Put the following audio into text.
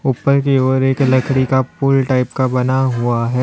ऊपर की ओर एक लकड़ी का पुल टाइप का बना हुआ है।